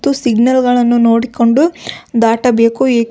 ಮತ್ತು ಸಿಗ್ನಲ್ ಗಳನ್ನು ನೋಡಿಕೊಂಡು ದಾಟಬೇಕು ಏಕೆಂದರೆ.